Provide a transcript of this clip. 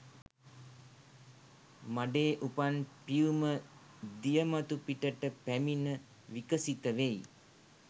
මඩේ උපන් පියුම දිය මතු පිටට පැමිණ විකසිත වෙයි.